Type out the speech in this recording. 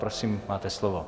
Prosím, máte slovo.